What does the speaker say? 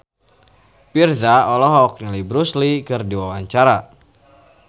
Virzha olohok ningali Bruce Lee keur diwawancara